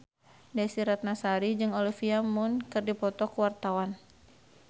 Desy Ratnasari jeung Olivia Munn keur dipoto ku wartawan